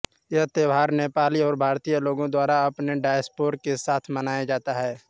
यह त्यौहार नेपाली और भारतीय लोगों द्वारा अपने डायस्पोरा के साथ मनाया जाता है